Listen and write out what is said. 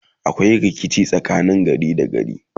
akwai rikici tsakanin gari da gari